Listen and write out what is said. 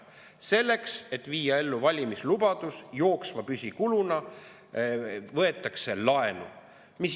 Selleks, et viia ellu valimislubadus, võetakse jooksva püsikuluna laenu.